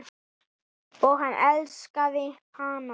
Og hann elskaði hana.